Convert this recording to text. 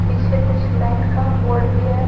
पीछे कुछ लाइन का बोर्ड भी है।